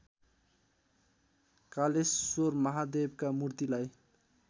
कालेश्वर महादेवका मूर्तिलाई